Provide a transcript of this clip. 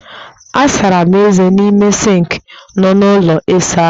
Asara m eze n'ime sịnkị nọ n'ụlọ ịsa ahụ